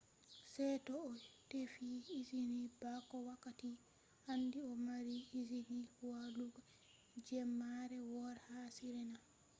se to a tefi izini bako wakkati. handi a mari izini walugo jemmare wore ha sirena